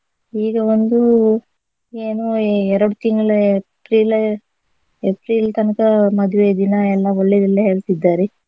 ಈಗ ಒಂದು ಏನು ಎರಡು ತಿಂಗ್ಳು April April ತನಕ ಮದ್ವೆ ದಿನ ಎಲ್ಲ ಒಳ್ಳೆದಿಲ್ಲ ಹೇಳ್ತಿದ್ದಾರೆ.